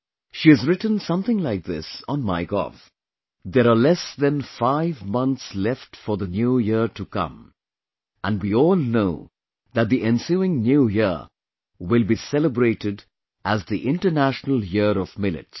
She has written something like this on MyGov There are less than 5 months left for the New Year to come, and we all know that the ensuing New Year will be celebrated as the International Year of Millets